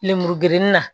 Lemuru gerennin na